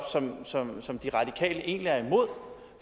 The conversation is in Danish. som som de radikale egentlig er imod for